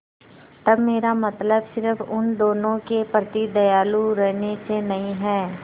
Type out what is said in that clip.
तब मेरा मतलब सिर्फ़ उन लोगों के प्रति दयालु रहने से नहीं है